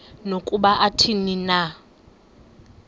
nokuba athini na